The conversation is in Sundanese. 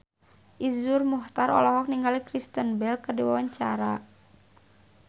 Iszur Muchtar olohok ningali Kristen Bell keur diwawancara